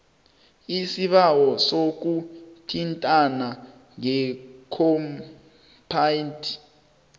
isibawo sokuthintana ngekhompyutha